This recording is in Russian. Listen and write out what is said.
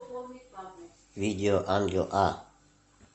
видео ангел а